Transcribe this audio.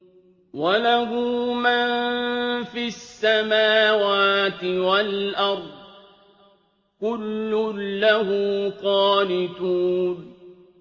وَلَهُ مَن فِي السَّمَاوَاتِ وَالْأَرْضِ ۖ كُلٌّ لَّهُ قَانِتُونَ